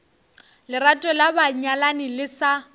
lerato la banyalani le sa